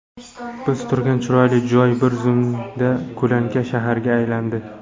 Biz turgan chiroyli joy bir zumda ko‘lanka shaharga aylandi.